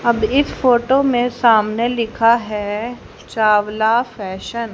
अब इस फोटो में सामने लिखा है चावला फैशन ।